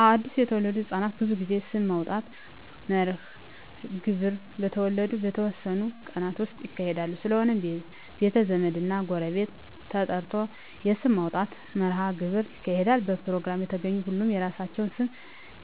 አወ አድሰ የተወለዱ ህፃናት ብዙ ጊዜ ስም የማውጣት መርሀ ግብር በተወለዱ በተወሠኑ ቀናት ውስጥ ይካሄዳል ስለሆነም ቤተ ዘመድ እና ጎረቤት ተጠርቶ የስም ማውጣት መራሀ ግብር ይካሄዳል በፕሮግራሙ የተገኙ ሁሉም የራሳቸውን ስም